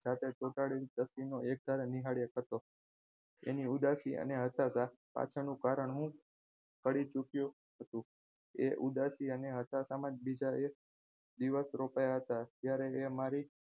ચોંટાડીને એકધારો નિહાળ્યા કરતો એની ઉદાસી અને હતાશા પાછળનું કારણ હું કળી ચુક્યો હતો એ ઉદાસી અને હતાશામાં બીજા એક દિવસ રોકાયા હતા ત્યારે એ મારી સાથે